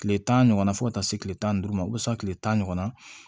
Kile tan ɲɔgɔnna fɔ ka taa se kile tan ni duuru ma o bɛ se tile tan ɲɔgɔnna ma